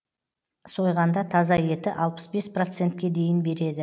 сойғанда таза еті алпыс бес процентке дейін береді